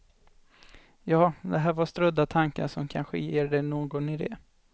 Ja, det här var strödda tankar som kanske ger dig någon idé.